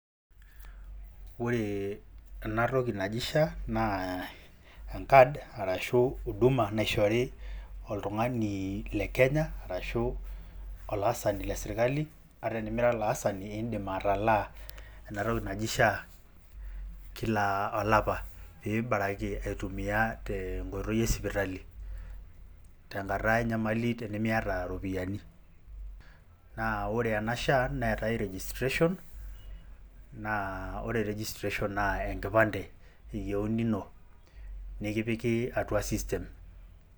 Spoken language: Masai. Oree enatoki naji Sha naa enkad arashu uduma naishori oltung'ani le Kenya arashu olaasani le [cz]sirkali ata enimira olaasani indim atalaa enatoki naji Sha kila olapa piibaraki aitumia tenkoitoi e sipitali tenkata enyamali tenimiata iropiyani. Naa ore ena Sha neetai registration naa ore  registration naa enkipande eyouni ino nekipiki atua system.